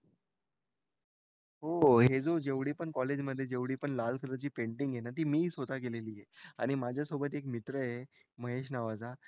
हो हे जे जेवढी कॉलेजमध्ये जेवढी पण लाल कलरची पेंटिंग आहे ना ती मी स्वतः केलेली आहे आणि माझ्यासोबत एक मित्र आहे महेश नावाच